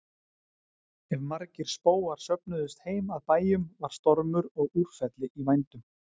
Ef margir spóar söfnuðust heim að bæjum var stormur og úrfelli í vændum.